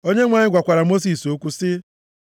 Onyenwe anyị gwakwara Mosis okwu sị,